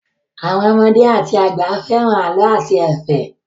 Àwọn ọmọdé àti àgbà fẹ́ràn àlọ́ àti ẹ̀fẹ̀.